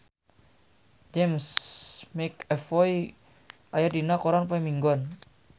James McAvoy aya dina koran poe Minggon